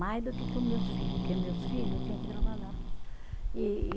Mais do que com meus filho, porque meus filho eu tinha que trabalhar. E e